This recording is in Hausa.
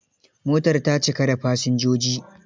Motar ta cika da fasinjoji?